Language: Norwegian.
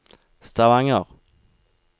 Stavanger